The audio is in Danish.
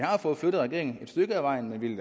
har fået flyttet regeringen et stykke ad vejen men vi